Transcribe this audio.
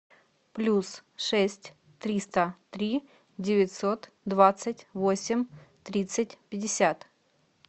плюс шесть триста три девятьсот двадцать восемь тридцать пятьдесят